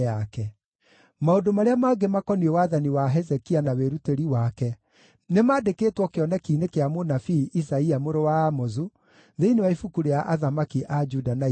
Maũndũ marĩa mangĩ makoniĩ wathani wa Hezekia na wĩrutĩri wake nĩmandĩkĩtwo kĩoneki-inĩ kĩa mũnabii Isaia mũrũ wa Amozu, thĩinĩ wa ibuku rĩa athamaki a Juda na Isiraeli.